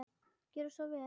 Gjörið svo vel!